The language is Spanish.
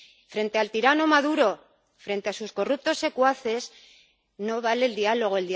Frente al tirano Maduro, frente a sus corruptos secuaces, no vale el diálogo.